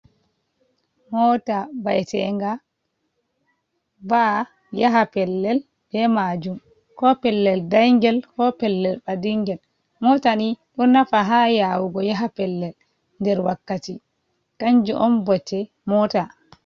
Mota ɓaitenga, va'a yaha pellel be majum. Ko pellel ɗangel, ko pellel ɓaɗingel. Mota ni ɗo nafa ha yawugo yaha pellel, nɗer wakkati. kanju on mɓote mota.